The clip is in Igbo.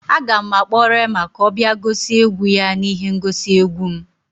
Aga m akpọ Reema ka ọ bịa gosi egwu ya n'ihe ngosi egwu m